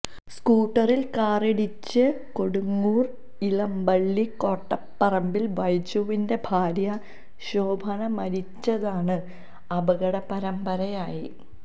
സ്കൂട്ടറിൽ കാറിടിച്ച് കൊടുങ്ങൂര് ഇളമ്പള്ളി കോട്ടേപ്പറമ്പില് ബൈജുവിൻെറ ഭാര്യ ശോഭന മരിച്ചതാണ് അപകടപരമ്പരയി